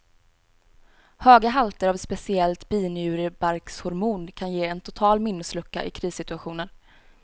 Höga halter av ett speciellt binjurebarkshormon kan ge en total minneslucka i krissituationer.